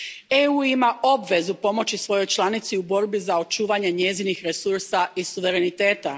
EU ima obvezu pomoći svojoj članici u borbi za očuvanje njezinih resursa i suvereniteta.